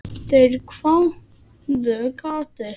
Þeir hváðu: Gati?